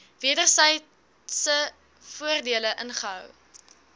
wedersydse voordele inhou